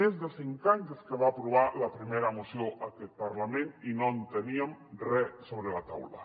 més de cinc anys des que va aprovar la primera moció aquest parlament i no teníem re sobre la taula